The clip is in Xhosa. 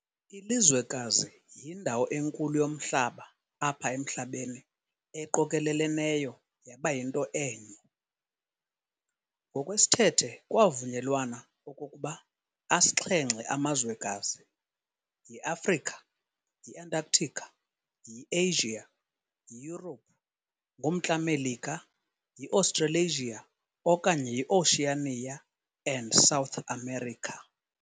Ilizwekazi yindawo enkulu yomhlaba apha emhlabeni eqokoleleneyo yaba yinto enye. ngokwesithethe kwavunyelwana okokuba asixhenxe amazwekazi- yi-Africa, yi-Antarctica, yi-Asia, yiYurohu, Ngumntla Melika, yi-Australasia okanye yi-Oceania, and South America.